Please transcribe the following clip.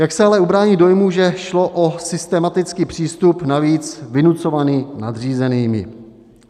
Jak se ale ubránit dojmu, že šlo o systematický přístup, navíc vynucovaný nadřízenými?